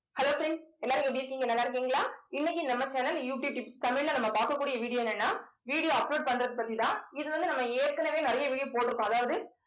hello friends எல்லாரும் எப்படி இருக்கீங்க நல்லா இருக்கீங்களா இன்னைக்கு நம்ம channel தமிழ்ல நம்ம பார்க்கக்கூடிய வீடியோ என்னன்னா video upload பண்றது பத்திதான். இது வந்து நம்ம ஏற்கனவே நிறைய video போட்டிருக்கோம அதாவது